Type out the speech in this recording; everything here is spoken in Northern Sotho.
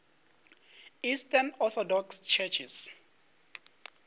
eastern orthodox churches